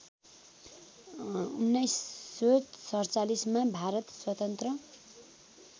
१९४७ मा भारत स्वतन्त्र